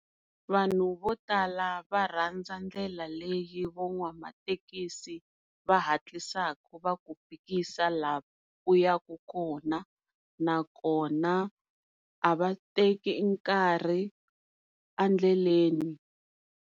Vanhu vo tala va rhandza ndlela leyi van'wamathekisi va hatlisa va ku fikisa laha u ya ku kona nakona a va teki nkarhi endleleni.